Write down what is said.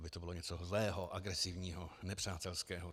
Aby to bylo něco zlého, agresivního, nepřátelského.